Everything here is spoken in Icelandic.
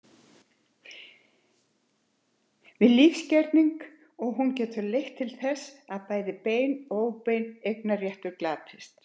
við lífsgerning, og hún getur leitt til þess að bæði beinn og óbeinn eignarréttur glatist.